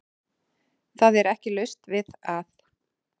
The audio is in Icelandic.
Það er ekki laust við að